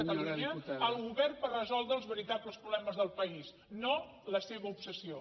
catalunya el govern per resoldre els veritables problemes del país no la seva obsessió